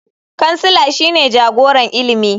Kansila shine jagoran ilimi.